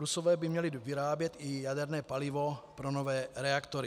Rusové by měli vyrábět i jaderné palivo pro nové reaktory.